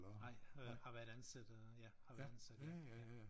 Nej øh har været ansat øh ja har været ansat i ja ja